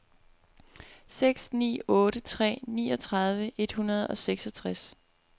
seks ni otte tre niogtredive et hundrede og seksogtres